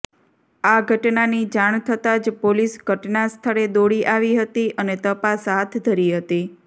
આ ઘટનાની જાણ થતા જ પોલીસ ઘટનાસ્થળે દોડી આવી હતી અને તપાસ હાથ ધરી હતી